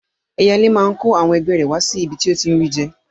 Ẹyẹlé máa kó àwọn ẹgbẹ́ rẹ̀ wá síbi tó ti ń ri jẹ